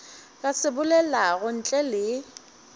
ka se bolelago ntle le